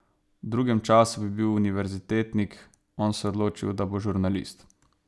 V drugem času bi bil univerzitetnik, on se je odločil, da bo žurnalist.